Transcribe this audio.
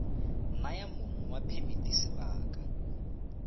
naya mong wa phemiti sebaka